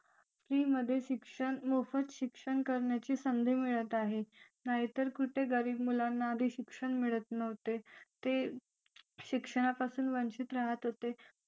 free मध्ये शिक्षण मोफत शिक्षण करण्याची संधी मिळत आहे नाहीतर कुठे गरीब मुलांना शिक्षण मिळत नव्हते ते शिक्षणापासून वंचित राहत होते